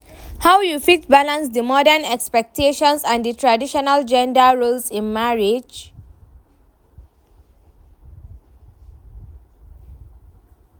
How you fit balance di modern expectations and di traditional gender roles in marriage?